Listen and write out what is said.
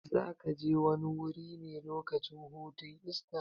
Zakaje wani wuri ne lokacin hutun Esta?